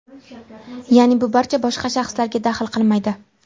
Ya’ni, bu barcha boshqa shaxslarga daxl qilmaydi.